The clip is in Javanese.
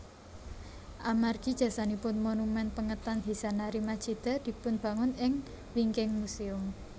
Amargi jasanipun monumen pengetan Hisanari Machida dipunbangun ing wingking muséum